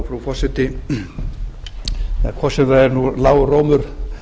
frú forseti hvort sem það er lágur rómur